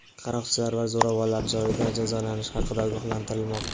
qaroqchilar va zo‘ravonlar joyida jazolanishi haqida ogohlantirmoqda.